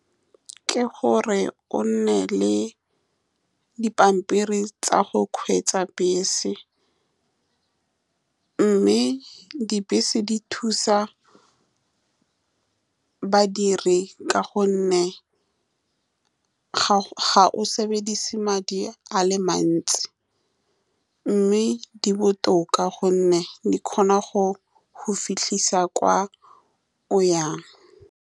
Ke gore o nne le dipampiri tsa go kgweetsa bese, mme dibese di thusa badiri ka gonne ga ga o sebedise madi a le mantsi, mme di botoka ka gonne di kgona go go fitlhisa kwa o yang.